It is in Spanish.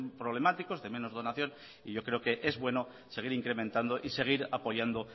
problemáticos de menos donación y creo que es bueno seguir incrementando y seguir apoyando